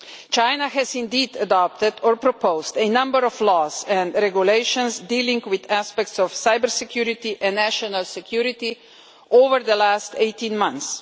China has adopted or proposed a number of laws and regulations dealing with aspects of cyber security and national security over the past 18 months.